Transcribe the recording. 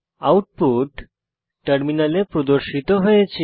output টার্মিনালে প্রদর্শিত হয়েছে